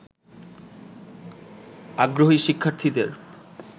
আগ্রহী শিক্ষার্থীদের